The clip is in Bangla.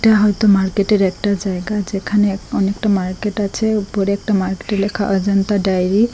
এটা হয়তো মার্কেটের একটা জায়গা যেখানে এক অনেকটা মার্কেট আছে উপরে একটা মার্কেটে লেখা অজন্তা ডাইরি ।